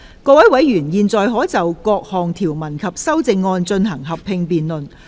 各位委員現在可以就各項條文及修正案，進行合併辯論。